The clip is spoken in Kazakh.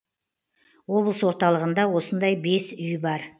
облыс орталығында осындай бес үй бар